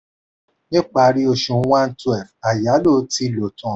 ni ìparí oṣù 1/12 ayálò ti lo tan.